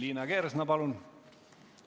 Liina Kersna, palun!